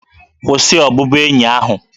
Kwụsị ọbụbụenyi ahụ!